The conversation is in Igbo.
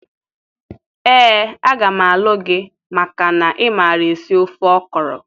Ee, a ga m alu gi maka na imara esi ofe okro.